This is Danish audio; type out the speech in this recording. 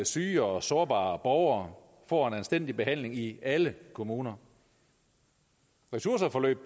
syge og sårbare borgere får en anstændig behandling i alle kommuner ressourceforløb